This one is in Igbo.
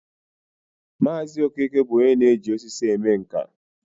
Maazi Okeke bu onye na-eji osisi eme nka